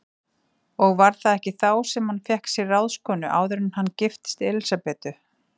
Og var það ekki þá sem hann fékk sér ráðskonu, áður en hann giftist Elísabetu?